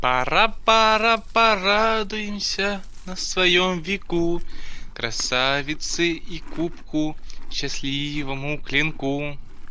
пора пора порадуемся на своём веку красавице и кубку счастливому клинку